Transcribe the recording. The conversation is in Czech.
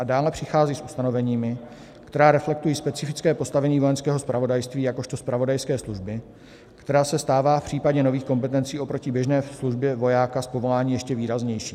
A dále přichází s ustanoveními, která reflektují specifické postavení Vojenského zpravodajství jakožto zpravodajské služby, která se stává v případě nových kompetencí oproti běžné službě vojáka z povolání ještě výraznější.